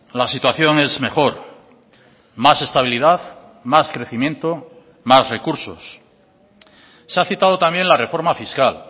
la situación es mejor más estabilidad más crecimiento más recursos se ha citado también la reforma fiscal